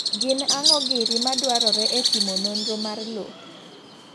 Gin ang'o giri madwarore e timo nonro mar loo?